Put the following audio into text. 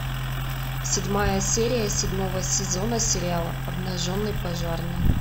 седьмая серия седьмого сезона сериала обнаженный пожарный